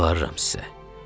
Yalvarıram sizə.